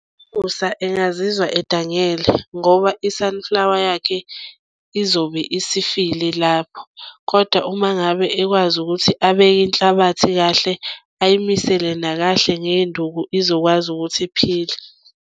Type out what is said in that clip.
Musa engazizwa edangele ngoba i-sunflower yakhe izobe isifile lapho kodwa uma ngabe ekwazi ukuthi abeke inhlabathi kahle, ayimisele nakahle ngey'nduku izokwazi ukuthi iphile.